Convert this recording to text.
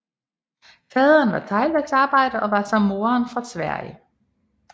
Faderen var teglværksarbejder og var som moderen fra Sverige